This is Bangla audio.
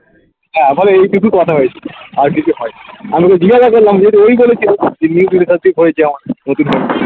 হ্যাঁ বলে এইটুকুই কথা হয়েছে আর কিছু হয়নি আমি ওকে জিজ্ঞাসা করলাম দিয়ে তো ও ই বলেছে হয়েছে